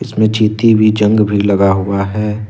जंग भी लगा भी हुआ है।